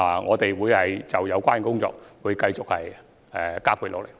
我們會就有關工作繼續加倍努力。